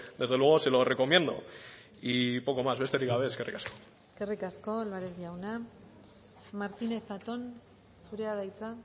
desde luego se lo recomiendo y poco más besterik gabe eskerrik asko eskerrik asko álvarez jauna martínez zatón zurea da hitza